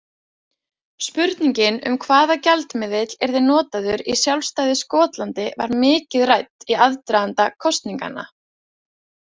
Spurningin um hvaða gjaldmiðill yrði notaður í sjálfstæðu Skotlandi var mikið rædd í aðdraganda kosninganna.